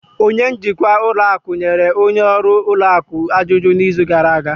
Onye njikwa ụlọ akụ nyere onye ọrụ ụlọ akụ ajụjụ n'izu gara aga